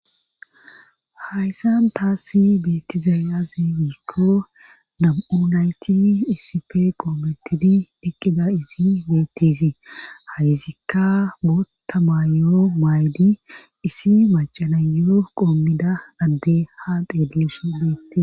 Hayssan taassi beetizayazigiikko nam7unayti iisipe qoometidi eqqida isi beettisii hayzikka bootta maayo maaydi isi macanayo qoommida adde ha xeelesh beetti